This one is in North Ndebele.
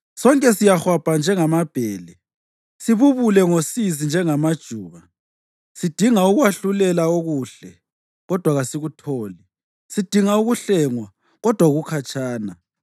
Sonke siyahwabha njengamabhele, sibubule ngosizi njengamajuba. Sidinga ukwahlulela okuhle, kodwa kasikutholi; sidinga ukuhlengwa, kodwa kukhatshana.